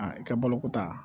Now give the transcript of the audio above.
A kɛ baloko ta